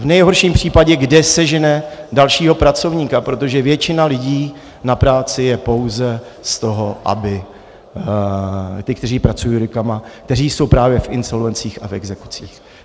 V nejhorším případě, kde sežene dalšího pracovníka, protože většina lidí na práci je pouze z toho, aby ti, kteří pracují rukama, kteří jsou právě v insolvencích a v exekucích.